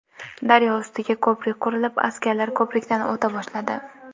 Daryo ustiga ko‘prik qurilib askarlar ko‘prikdan o‘ta boshladi.